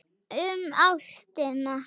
Um ástina.